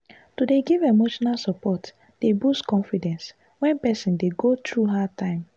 to dey give emotional support dey boost confidence when person dey go through hard time.